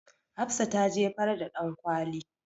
Hafsa ta jefar da ɗankwali.